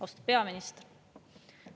Austatud peaminister!